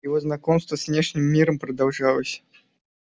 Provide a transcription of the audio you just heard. его знакомство с внешним миром продолжалось